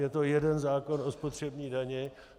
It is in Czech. Je to jeden zákon o spotřební dani.